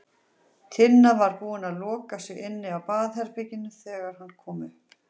Tinna var búin að loka sig inni á baðherberginu þegar hann kom upp.